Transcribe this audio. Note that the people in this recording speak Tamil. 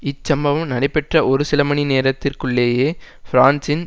இச் சம்பவம் நடைபெற்ற ஒரு சில மணி நேரத்திற்குள்ளேயே பிரான்சின்